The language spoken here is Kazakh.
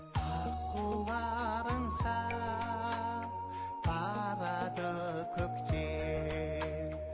аққулар аңсап барады көкте